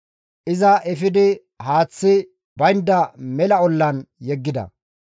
iza efidi haaththi baynda mela ollan yeggida.